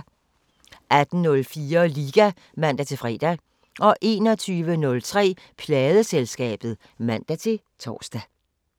18:04: Liga (man-fre) 21:03: Pladeselskabet (man-tor)